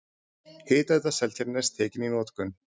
Hitaveita Seltjarnarness tekin í notkun.